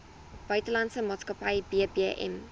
buitelandse maatskappy bbm